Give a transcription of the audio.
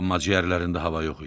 Amma ciyərlərində hava yox idi.